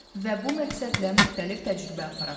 Və bu məqsədlə müxtəlif təcrübə aparaq.